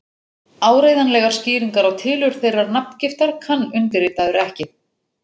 Áreiðanlegar skýringar á tilurð þeirrar nafngiftar kann undirritaður ekki.